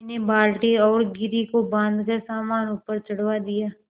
मैंने बाल्टी और घिर्री को बाँधकर सामान ऊपर चढ़वा दिया